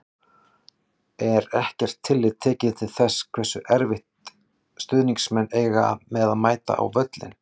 Er ekkert tillit tekið til þess hversu erfitt stuðningsmenn eiga með að mæta á völlinn?